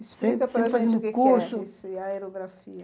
Explica para a gente o que é Curso Aerografia.